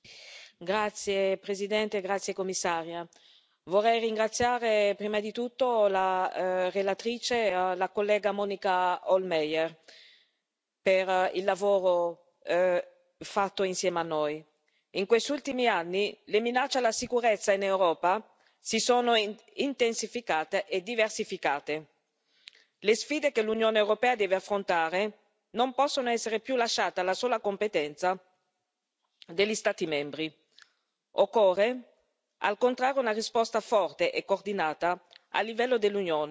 Signora Presidente, signor Commissario, onorevoli colleghi, vorrei ringraziare prima di tutto la relatrice, la collega Monika Hohlmeier, per il lavoro fatto insieme a noi. In questi ultimi anni le minacce alla sicurezza in Europa si sono intensificate e diversificate. Le sfide che l'Unione europea deve affrontare non possono essere più lasciate alla sola competenza degli Stati membri. Occorrono, al contrario, una risposta forte e coordinata a livello dell'Unione